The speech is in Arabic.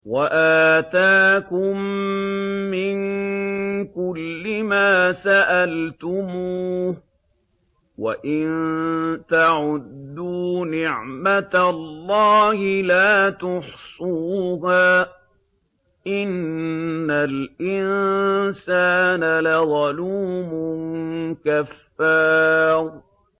وَآتَاكُم مِّن كُلِّ مَا سَأَلْتُمُوهُ ۚ وَإِن تَعُدُّوا نِعْمَتَ اللَّهِ لَا تُحْصُوهَا ۗ إِنَّ الْإِنسَانَ لَظَلُومٌ كَفَّارٌ